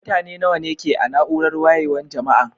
Mutane nawa ne ke a' naúrar wayewan Jama'an?